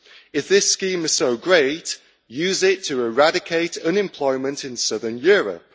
If this scheme is so great, use it to eradicate unemployment in southern Europe.